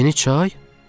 "Yeni çay?"